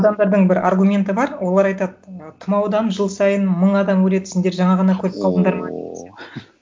адамдардың бір аргументі бар олар айтады ы тұмаудан жыл сайын мың адам өледі сендер жаңа ғана көріп қалдындар ма ооо